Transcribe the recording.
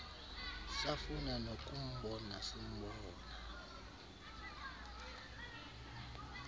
safuna nokumbona simbona